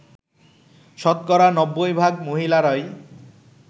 শতকরা ৯০ ভাগ মহিলারই